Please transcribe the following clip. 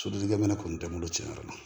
Sodenninkɛ minɛn kɔni tɛ n bolo cɛn yɛrɛ la